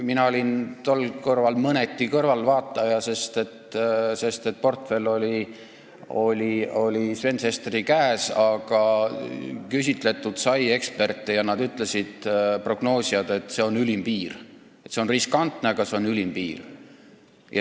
Mina olin tol korral mõneti kõrvaltvaataja, sest portfell oli Sven Sesteri käes, aga küsitletud sai eksperte ja need prognoosijad ütlesid, et see on ülim piir – see on riskantne, aga see on ülim piir.